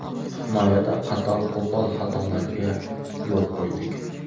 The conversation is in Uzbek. Himoyada qator qo‘pol xatolarga yo‘l qo‘ydik.